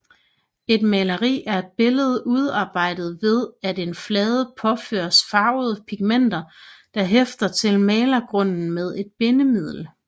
Et maleri er et billede udarbejdet ved at en flade påføres farvede pigmenter der hæfter til malegrunden med et bindemiddel